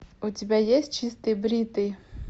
у тебя есть чистый бритый